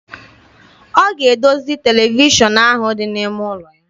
Ọ ga-edozi televishọn ahụ dị n'ime ụlọ ya.